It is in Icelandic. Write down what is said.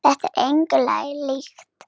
Þetta er engu lagi líkt.